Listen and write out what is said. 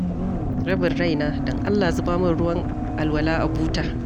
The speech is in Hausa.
Rabin raina, don Allah zuba min ruwan alwala a buta.